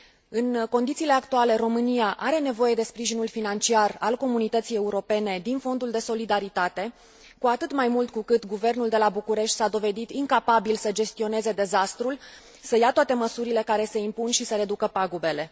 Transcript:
În condițiile actuale, România are nevoie de sprijinul financiar al Comunității Europene din Fondul de Solidaritate, cu atât mai mult cu cât guvernul de la București s a dovedit incapabil să gestioneze dezastrul, să ia toate măsurile care se impun și să reducă pagubele.